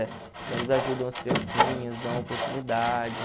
Então eles ajudam as criancinhas, dão oportunidade.